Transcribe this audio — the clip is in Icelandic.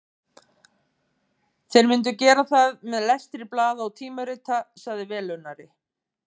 Þeir myndu gera það með lestri blaða og tímarita, sagði velunnari